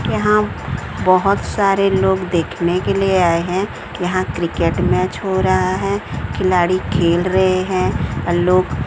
यहां बहोत सारे लोग देखने के लिए आए हैं यहां क्रिकेट मैच हो रहा है खिलाड़ी खेल रहे हैं अ लोग--